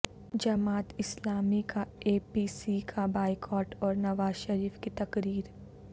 جماعت اسلامی کا اے پی سی کا بائیکاٹ اور نوازشریف کی تقریر